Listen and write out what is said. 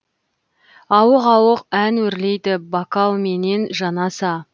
ауық ауық ән өрлейді бокалменен жанаса